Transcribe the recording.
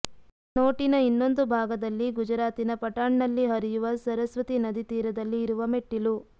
ನೋಟಿನ ಇನ್ನೊಂದು ಭಾಗದಲ್ಲಿ ಗುಜರಾತಿನ ಪಟಾಣ್ನಲ್ಲಿ ಹರಿಯುವ ಸರಸ್ವತಿ ನದಿ ತೀರದಲ್ಲಿ ಇರುವ ಮೆಟ್ಟಿಲು